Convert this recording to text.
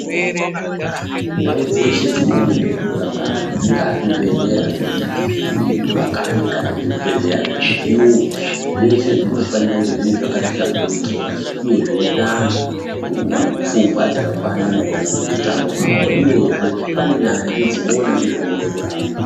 Ndau dzeshe dzinoona ngezvekurapa antu, zvingaa zvibhedhleya zvemuma kanyi, kana zvibhedhleya zvemuchiyungu zveshe zvinofanira kunge zviri zvakati hlamburukei, uye zveipa antu pfungwa dzakakwana maererano neutano hwavo, uyezve panenyanzvi dzinoona nezvekukona kurapa.